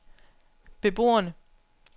beboerne